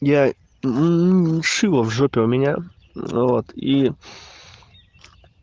я мм шило в жопе у меня вот и